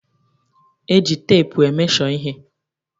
E ji teepu e mesho ihe.